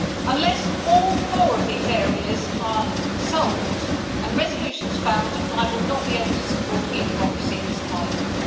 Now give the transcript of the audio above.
Unless all four of these areas are solved and resolutions found I will not be able to support e democracy in this Parliament.